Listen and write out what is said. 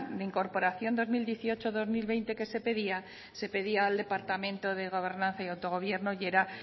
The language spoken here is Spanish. de incorporación dos mil dieciocho dos mil veinte que se pedía se pedía al departamento de gobernación y autogobierno y era